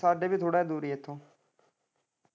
ਸਾਡੇ ਵੀ ਥੋੜਾ ਜਿਹਾ ਦੂਰ ਈ ਆ ਇੱਥੋਂ।